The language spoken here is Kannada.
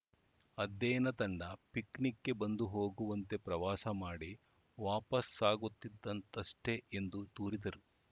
ಅಧ್ಯಯನ ತಂಡ ಪಿಕ್‌ನಿಕ್‌ಗೆ ಬಂದು ಹೋಗುವಂತೆ ಪ್ರವಾಸ ಮಾಡಿ ವಾಪಾಸ್ ಹಾಗುತಿದ್ದಂಥ ತಷ್ಟೇ ಎಂದು ದೂರಿದರು